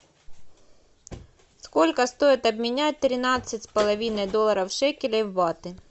сколько стоит обменять тринадцать с половиной долларов шекелей в баты